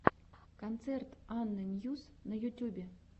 концерт анна ньюс на ютюбе